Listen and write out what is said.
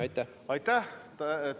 Aitäh!